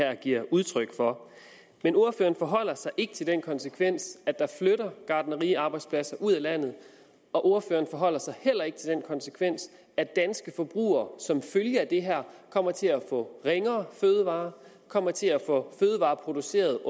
giver udtryk for men ordføreren forholder sig ikke til den konsekvens at der flytter gartneriarbejdspladser ud af landet og ordføreren forholder sig heller ikke til den konsekvens at danske forbrugere som følge af det her kommer til at få ringere fødevarer kommer til at få fødevarer produceret